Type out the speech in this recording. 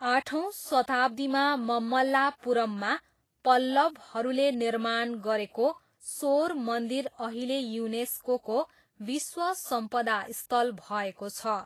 आठौँ शताब्दीमा ममल्लापुरममा पल्लवहरूले निर्माण गरेको सोर मन्दिर अहिले युनेस्कोको विश्व सम्पदा स्थल भएको छ।